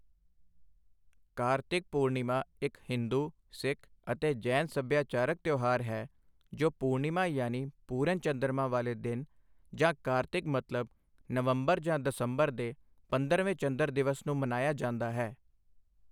ਕਾਰਤਿਕ ਪੂਰਣਿਮਾ ਇੱਕ ਹਿੰਦੂ, ਸਿੱਖ ਅਤੇ ਜੈਨ ਸੱਭਿਆਚਾਰਕ ਤਿਉਹਾਰ ਹੈ, ਜੋ ਪੂਰਣਿਮਾ ਯਾਨੀ ਪੂਰਨ ਚੰਦਰਮਾ ਵਾਲੇ ਦਿਨ ਜਾਂ ਕਾਰਤਿਕ ਮਤਲਬ ਨਵੰਬਰ ਜਾਂ ਦਸੰਬਰ ਦੇ ਪੰਦਰਵੇਂ ਚੰਦਰ ਦਿਵਸ ਨੂੰ ਮਨਾਇਆ ਜਾਂਦਾ ਹੈ।